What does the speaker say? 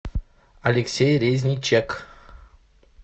алексей резничек